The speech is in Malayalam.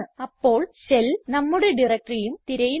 അപ്പോൾ ഷെൽ നമ്മുടെ directoryഉം തിരയുന്നു